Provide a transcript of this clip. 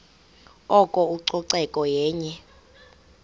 oko ucoceko yenye